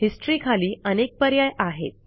history खाली अनेक पर्याय आहेत